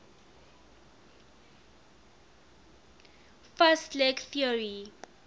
fast leg theory